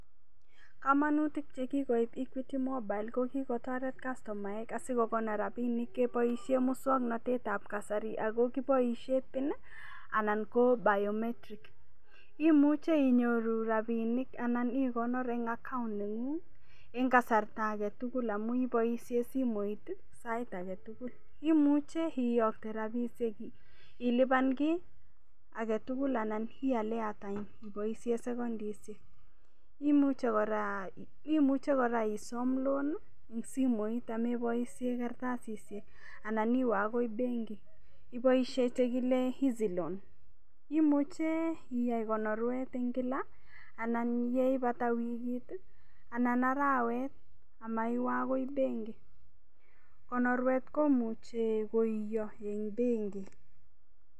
Komonutik chekikoib equity mobile kokikotoret kastomaek asikonyor rabinik keboishe muswong'natetab kasari ako kiboishe pin anan ko biometric imuche inyoru rabinik anan ikonor eng' account neng'ung' eng' kasarta ake tugul amu iboishe simoit sait age tugul imuche iyokte rapishek ilipan ki agetugul ana ial airtime iboishe sekendishek imuche kora isom loan ing' simoit ameboishe karatasishek anan iwe akoi benki iboishe chekile easy loan imuche iyai konorwet eng' kilaanan yeipata wikit anan arawet amaiwe akoi benki konorwet komuchei koiyo eng' benki